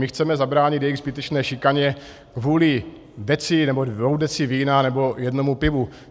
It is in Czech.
My chceme zabránit jejich zbytečné šikaně kvůli deci nebo dvěma deci vína nebo jednomu pivu.